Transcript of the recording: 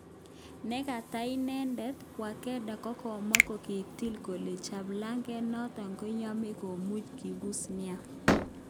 Nekata inedet, Wadekar kokamwa kokitil kole cheplaget noton koyoche komuny kipuse nia.